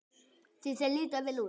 Því þeir líta vel út?